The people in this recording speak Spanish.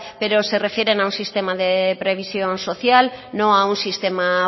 pero se refieren a un sistema de previsión social no a un sistema